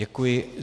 Děkuji.